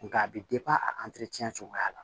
Nka a bɛ a cogoya la